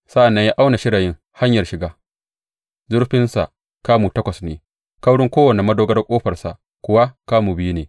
Sa’an nan ya auna shirayin hanyar shiga; zurfinsa kamu takwas ne, kaurin kowane madogarar ƙofarsa kuwa kamu biyu ne.